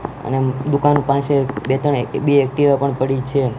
અને દુકાન પાસે બે ત્રણ બે એકટીવા પણ પડી છે.